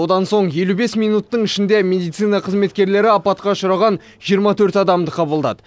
одан соң елу бес минуттың ішінде медицина қызметкерлері апатқа ұшыраған жиырма төрт адамды қабылдады